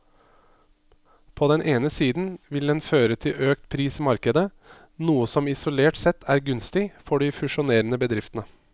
På den ene siden vil den føre til økt pris i markedet, noe som isolert sett er gunstig for de fusjonerende bedriftene.